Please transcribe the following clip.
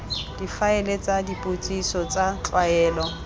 difaele tsa dipotsiso tsa tlwaelo